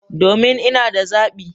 Domin! Ina da zabi